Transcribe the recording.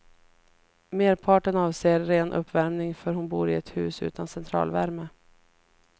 Merparten avser ren uppvärmning, för hon bor i ett hus utan centralvärme.